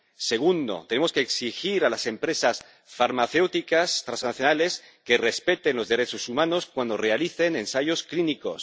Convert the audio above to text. Segundo, tenemos que exigir a las empresas farmacéuticas transnacionales que respeten los derechos humanos cuando realicen ensayos clínicos.